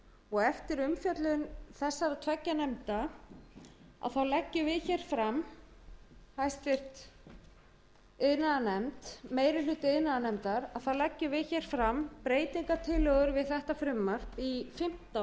og eftir umfjöllun þessara tveggja nefnda leggjum við fram háttvirtur meiri hluti iðnaðarnefndar þá leggjum við fram breytingartillögur við þetta frumvarp í fimmtán